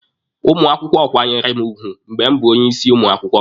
Ụmụ akwụkwọ kwanyere mụ ugwu mgbe m bụ onye isi ụmụ akwụkwọ.